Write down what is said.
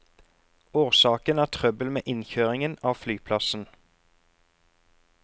Årsaken er trøbbel med innkjøringen av flyplassen.